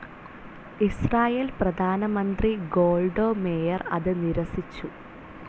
Israel പ്രധാനമന്ത്രി Golda Meir അത് നിരസിച്ചു.